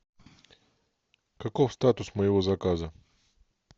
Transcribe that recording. каков статус моего заказа